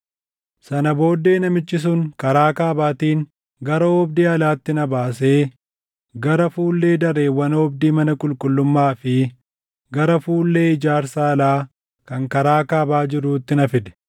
Sana booddee namichi sun karaa kaabaatiin gara oobdii alaatti na baasee gara fuullee dareewwan oobdii mana qulqullummaa fi gara fuullee ijaarsa alaa kan karaa kaabaa jiruutti na fide.